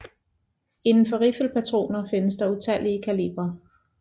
Inden for riffelpatroner findes der utallige kalibre